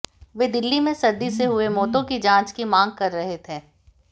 वे दिल्ली में सर्दी से हुई मौतों की जांच की मांग कर रहे थे